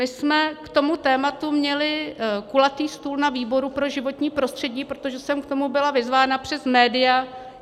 My jsme k tomu tématu měli kulatý stůl na výboru pro životní prostředí, protože jsem k tomu byla vyzvána přes média.